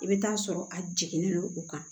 I bɛ taa sɔrɔ a jiginnen don u kan